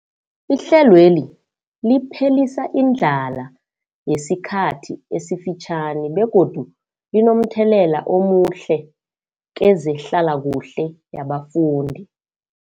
Ihlelweli liphelisa indlala yesikhathi esifitjhani begodu linomthelela omuhle kezehlalakuhle yabafundi.